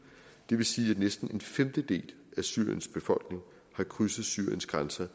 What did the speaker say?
det vil sige at næsten en femtedel af syriens befolkning har krydset syriens grænser